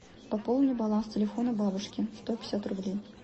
пополни баланс телефона бабушки сто пятьдесят рублей